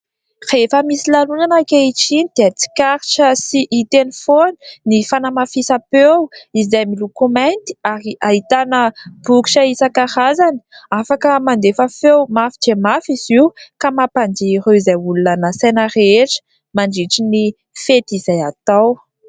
Rehefa misy lanonana ankehitriny dia tsikarirra sy hita eny foana ny fanamafisam-peo izay miloko mainty ary ahitana bokotra isan-karazany. Afaka mandefa feo mafy dia mafy izy io ka mampadihy ireo izay olona nasaina rehetra nandritra ny fety izay natao.